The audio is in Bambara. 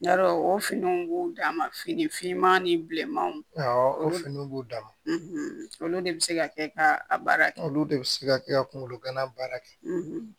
Yarɔ o finiw b'u dan ma fini finman ni bilenmanw awɔ o finiw b'u dama olu de bi se ka kɛ ka a baara kɛ olu de bi se ka kɛ ka kunkolo gana baara kɛ